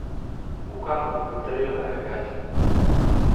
Bukaanku wuxuu dareemaaya gaajo.